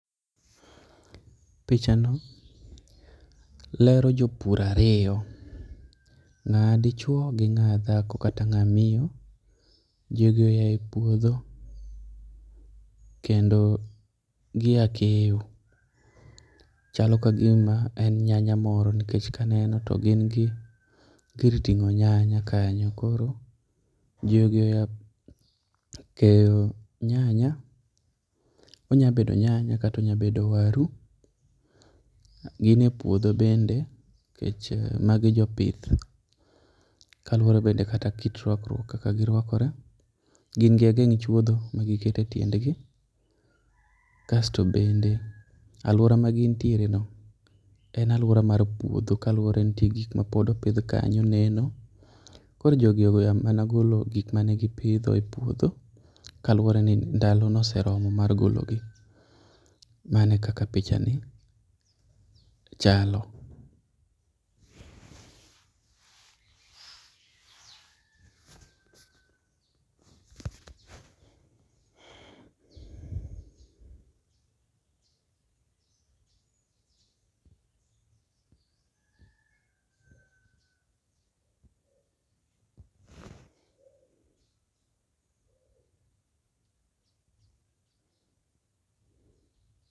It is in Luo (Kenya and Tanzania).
Pichano lero jopur ariyo ma dichuo gi ng'a dhako kata ng'a miyo .Jogi oae puodho kendo giya keyo, Chalo ka gima en nyanya moro nikech kaneno to gin gi gir ting'o nyanya kanyo koro jogi oya keyo nyanya. Onya bedo nyanya katonya bedo waru gin e puodho bende nikech magi jopith kaluowre kit rwakruok kaka girwakore gin gi ageng' chuodho ma giketo e tiendgi. Kasto bende alauora ma gintiere no en aluora mar puodho kaluwore no ntie gik mapod opidh kanyo pod neno koro jogi oya golo mana gik mane gipidho e puodho kaluwore ni ndalo noseromo mar golo gi. Mano e kaka picha ni chalo